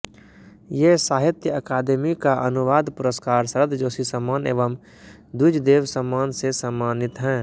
ये साहित्य अकादेमी का अनुवाद पुरस्कार शरद जोशी सम्मान एवं द्विजदेव सम्मान से सम्मानित हैं